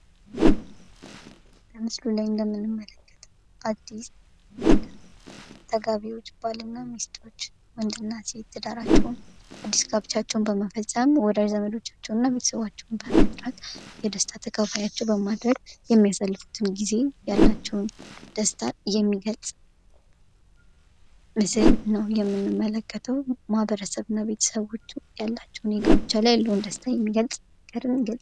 በምስሉ ላይ እንደምንመለከተው አዲስ ተጋቢዎች ባልና ሚስቶች ወንድ እና ሴት ትዳራቸውን አዲስ ጋብቻቸውን በመፈፀም ወዳጅ ዘመዶቻቸውን እና ቤተሰቦቻቸውን በመጥራት የደስታ ተካፋያቸው በማድረግ የሚያሳልፉትን ጊዜ ያላቸውን ደስታ የሚገልጽ ምስል ነው ።የምንመለከተው ማህበረሰብ እና ቤተሰባቸው ያላቸውን ጋብቻ ላይ ያለውን ደስታ የሚገልጽ.....